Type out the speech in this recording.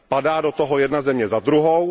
Padá do toho jedna země za druhou.